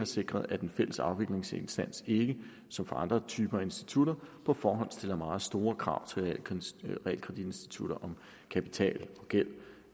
sikret at den fælles afviklingsinstans ikke som for andre typer af institutter på forhånd stiller meget store krav til realkreditinstitutter om kapital og gæld